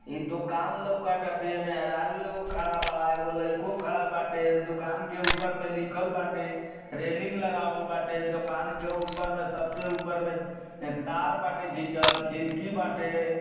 ई दुकान लउक ताटे। मेहरारु एगो खड़ा बा। एगो लइको खड़ा बाटे। दुकान के ऊपर में लिखल बाटे। रेलिंग लगावल बाटे। दुकान के ऊपर में सबसे ऊपर में अ तार बाटे घीचल खिड़की बाटे।